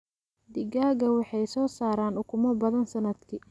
Digaagga waxay soo saaraan ukumo badan sannadkii.